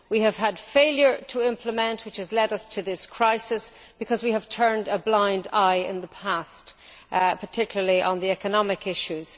We have had failure to implement which has led us to this crisis because we have turned a blind eye in the past, particularly on the economic issues.